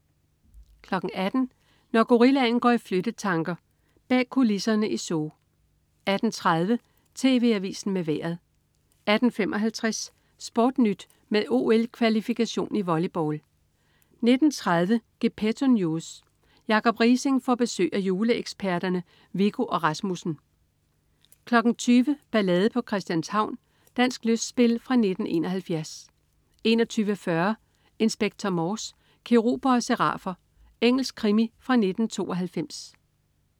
18.00 Når gorillaen går i flyttetanker. Bag kulisserne i zoo 18.30 TV Avisen med Vejret 18.55 SportNyt med OL-kvalifikation i volleyball 19.30 Gepetto News. Jacob Riising får besøg af juleeksperterne Viggo og Rasmussen 20.00 Ballade på Christianshavn. Dansk lystspil fra 1971 21.40 Inspector Morse: Keruber og serafer. Engelsk krimi fra 1992